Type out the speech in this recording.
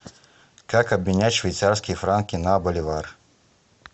как обменять швейцарские франки на боливар